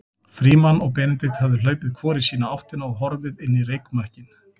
Frímann og Benedikt höfðu hlaupið hvor í sína áttina og horfið inn í reykmökkinn.